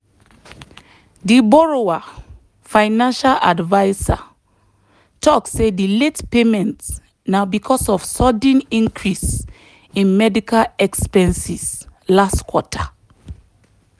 the borrower financial advisor talk say the late payment na because of sudden increase in medical expenses last quarter.